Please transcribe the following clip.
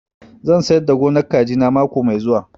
Zan sayar da gonar kaji na mako mai zuwa